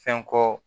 Fɛn ko